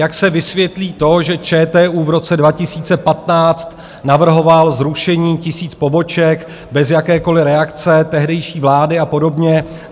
Jak se vysvětlí to, že ČTÚ v roce 2015 navrhoval zrušení tisíce poboček bez jakékoliv reakce tehdejší vlády, a podobně.